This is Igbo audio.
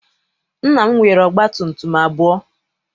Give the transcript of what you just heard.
Nna m nwere ọgba tum tum abụọ.